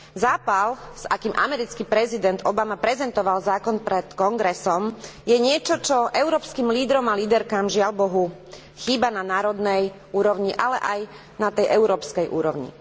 Zápal s akým americký prezident Obama prezentoval zákon pred kongresom je niečo, čo európskym lídrom a líderkám, žiaľbohu, chýba na národnej úrovni, ale aj na tej európskej úrovni.